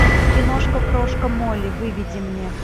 киношка крошка молли выведи мне